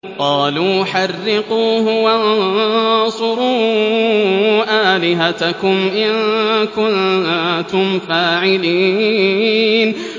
قَالُوا حَرِّقُوهُ وَانصُرُوا آلِهَتَكُمْ إِن كُنتُمْ فَاعِلِينَ